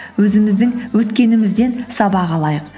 өзіміздің өткенімізден сабақ алайық